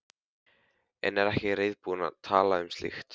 En er ekki reiðubúin að tala um slíkt.